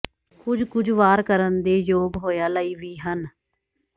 ਕੁਝ ਕੁਝ ਵਾਰ ਕਰਨ ਦੇ ਯੋਗ ਹੋਇਆ ਲਈ ਵੀ ਹਨ